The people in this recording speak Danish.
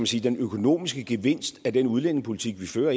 sige økonomiske gevinst ind af den udlændingepolitik vi fører